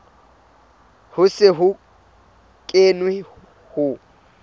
ho se ho kenwe ho